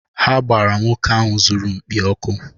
Ha gbara nwoke ahụ zụrụ mkpi ọkụ.